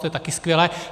To je také skvělé.